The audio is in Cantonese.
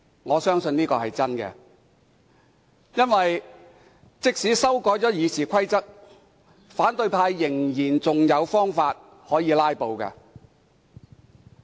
我相信這是真話，因為即使修改《議事規則》，反對派仍有方法可以"拉布"。